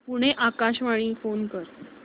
पुणे आकाशवाणीला फोन कर